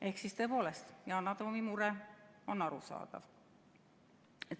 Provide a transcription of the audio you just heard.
Ehk siis tõepoolest, Yana Toomi mure on arusaadav.